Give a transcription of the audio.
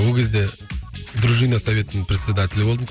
ол кезде дружина советінің председателі болдым